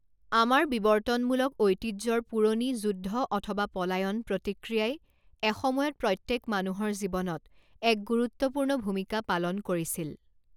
আমাৰ বিৱৰ্তনমূলক ঐতিহ্যৰ পুৰণি 'যুদ্ধ অথবা পলায়ন' প্ৰতিক্ৰিয়াই এসময়ত প্ৰত্যেক মানুহৰ জীৱনত এক গুৰুত্বপূৰ্ণ ভূমিকা পালন কৰিছিল।